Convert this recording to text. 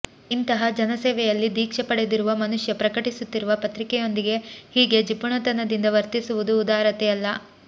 ಇಂತಹ ಜನಸೇವೆಯಲ್ಲಿ ದೀಕ್ಷೆ ಪಡೆದಿರುವ ಮನುಷ್ಯ ಪ್ರಕಟಿಸುತ್ತಿರುವ ಪತ್ರಿಕೆಯೊಂದಿಗೆ ಹೀಗೆ ಜಿಪುಣತನದಿಂದ ವರ್ತಿಸುವುದು ಉದಾರತೆಯಲ್ಲ